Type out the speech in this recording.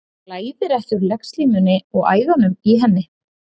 Blæðir ekki úr legslímunni og æðunum í henni?